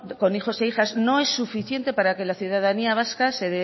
con hijos e hijas no es suficiente para que la ciudadanía vasca